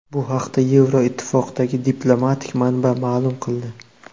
Bu haqda Yevroittifoqdagi diplomatik manba ma’lum qildi.